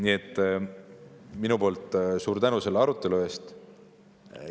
Nii et minu poolt suur tänu selle arutelu eest!